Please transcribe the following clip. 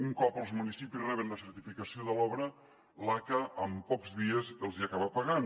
un cop els municipis reben la certificació de l’obra l’aca amb pocs dies els hi acaba pagant